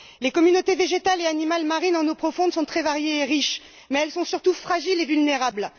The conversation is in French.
Les communautés végétales et animales marines en eaux profondes sont très variées et riches, mais elles sont surtout fragiles et vulnérables.